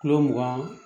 Kulo mugan